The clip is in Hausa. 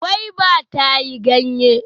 Gwaiba ta yi ganye.